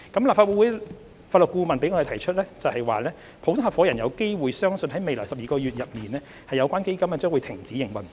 立法會法律顧問向我們提出普通合夥人有機會相信在未來12個月內，有關基金將停止營運。